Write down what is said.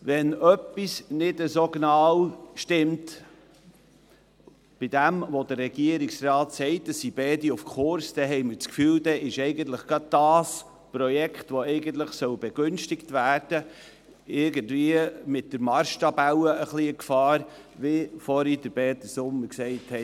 Wenn etwas nicht so genau stimmt bei dem, was der Regierungsrat sagt, es seien beide auf Kurs, haben wir den Eindruck, eigentlich sei gerade das Projekt, welches begünstigt werden soll, wegen Biel mit der Marschtabelle in Gefahr, wie Peter Sommer vorhin gesagt hat.